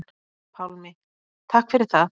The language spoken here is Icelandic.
Pálmi: Takk fyrir það.